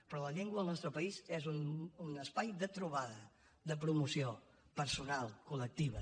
però la llengua al nostre país és un espai de trobada de promoció personal col·lectiva